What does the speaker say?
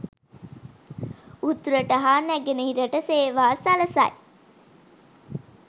උතුරට හා නැගෙනහිරට සේවා සලසයි